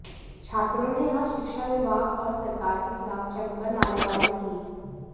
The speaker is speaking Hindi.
छात्रों ने यहां शिक्षा विभाग और सरकार के खिलाफ जमकर नारेबाजी की